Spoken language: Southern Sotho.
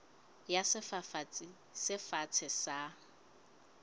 ya sefafatsi se fatshe sa